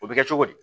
O bɛ kɛ cogo di